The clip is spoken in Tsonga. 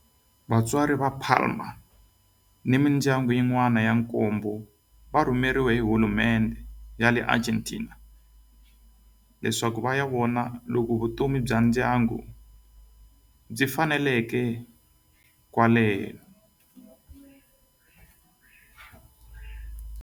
Vatswari va Palma ni mindyangu yin'wana ya nkombo va rhumeriwe hi hulumendhe ya le Argentina leswaku va ya vona loko vutomi bya ndyangu byi faneleka laha.